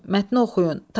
Mətni oxuyun.